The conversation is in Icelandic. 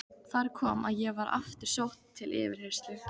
Þar kom að ég var aftur sótt til yfirheyrslu.